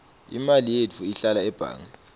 imali yetfu ihlala ebhange